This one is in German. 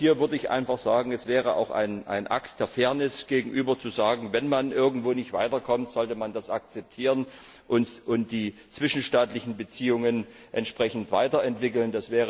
Auch hier würde ich einfach sagen, es wäre auch ein Akt der Fairness, dem Gegenüber zu sagen, wenn man irgendwo nicht weiterkommt, sollte man das akzeptieren und die zwischenstaatlichen Beziehungen entsprechend weiterentwickeln.